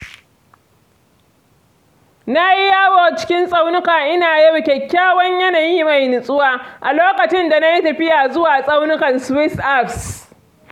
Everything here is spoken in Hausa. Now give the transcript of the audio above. Na yi yawo cikin tsaunuka ina yaba kyakkyawan yanayi mai nutsuwa, a lokacin da na yi tafiya zuwa tsaunukan Swiss Alps.